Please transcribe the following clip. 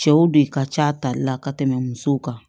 Cɛw de ka ca tali la ka tɛmɛ musow kan